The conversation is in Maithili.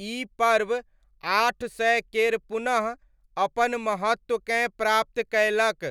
ई पर्व आठ सय केर पुनः अपन महत्वकेँ प्राप्त कयलक